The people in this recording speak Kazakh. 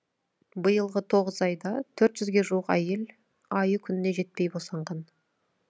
биылғы тоғыз айда төрт жүзге жуық әйел айы күніне жетпей босанған